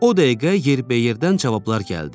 O dəqiqə yerbəyerdən cavablar gəldi.